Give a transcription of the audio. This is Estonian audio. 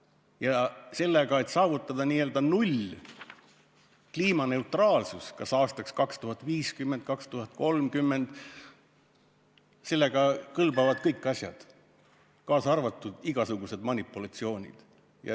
Ja selleks, et saavutada n-ö null, st kliimaneutraalsus kas aastaks 2050 või 2030, kõlbavad kõik asjad, kaasa arvatud igasugused manipulatsioonid.